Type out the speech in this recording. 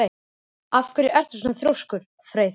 Af hverju ertu svona þrjóskur, Freyþór?